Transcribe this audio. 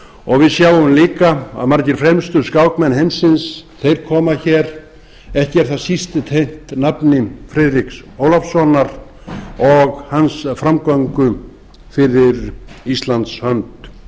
og við hjá líka að margir fremstu skákmenn heimsins þeir koma hér ekki er það síst tengt nafni friðriks ólafssonar og hans framgöngu fyrir íslands